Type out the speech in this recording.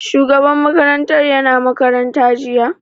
Shugaban makarantar ya na makaranta jiya?